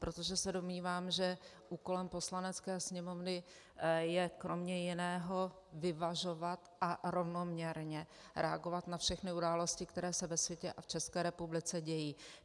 Protože se domnívám, že úkolem Poslanecké sněmovny je kromě jiného vyvažovat a rovnoměrně reagovat na všechny události, které se ve světě a v České republice dějí.